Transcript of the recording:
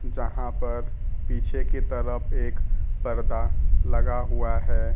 जहां पर पीछे की तरफ एक पर्दा लगा हुआ है।